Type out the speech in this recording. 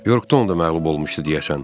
Yorktonda məğlub olmuşdu, deyəsən.